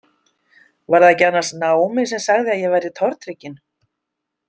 Var það annars ekki Naomi sem sagði að ég væri tortrygginn?